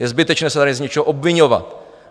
Je zbytečné se tady z něčeho obviňovat.